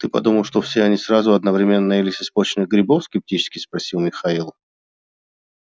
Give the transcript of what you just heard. ты подумал что все они сразу одновременно наелись испорченных грибов скептически спросил михаил